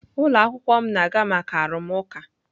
Ụlọ akwụkwọ m na-aga maka arụmụka.